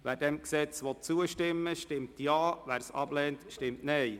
Wer dem Gesetz zustimmt, stimmt Ja, wer es ablehnt, stimmt Nein.